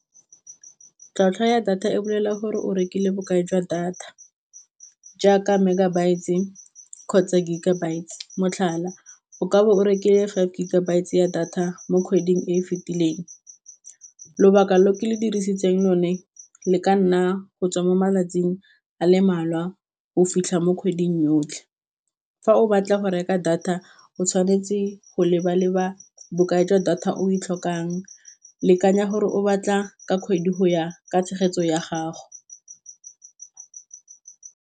Tlhwatlhwa ya data e bolella gore o rekile bokae jwa data jaaka megabytes kgotsa gigabyte motlhala o kabo o rekile five gigabyte tse ya data mo kgweding e e fetileng, lobaka lo ke le dirisitseng one le ka nna go tswa mo malatsing a le malwa go fitlha mo kgweding yotlhe, fa o batla go reka data o tshwanetse go leba-leba bokae jwa data o e tlhokang lekanya gore o batla ka kgwedi go ya ka tshegetso ya gago.